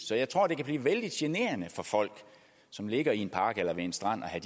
så jeg tror det kan blive vældig generende for folk som ligger i en park eller ved en strand at